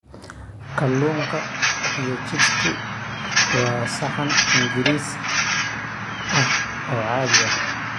Kalluunka iyo chips-ku waa saxan Ingiriis ah oo caadi ah.